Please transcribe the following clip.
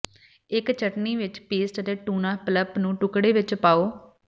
ਇੱਕ ਚਟਣੀ ਵਿੱਚ ਪੇਸਟ ਅਤੇ ਟੁਨਾ ਪਲਪ ਨੂੰ ਟੁਕੜੇ ਵਿੱਚ ਪਾਓ